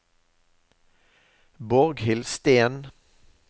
Borghild Steen